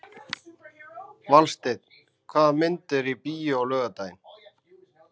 Valsteinn, hvaða myndir eru í bíó á laugardaginn?